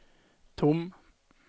tom